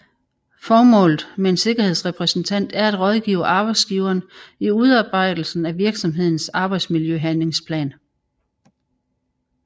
Formålet med en sikkerhedsrepræsentant er at rådgive arbejdsgiveren i udarbejdelsen af virksomhedens arbejdsmiljøhandlingsplan